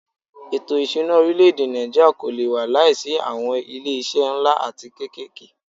Ètò ìṣúná orílẹ̀-èdè Nàìjíríà kò lé wà láìsí awọn ilé iṣé nlá atí kékèké.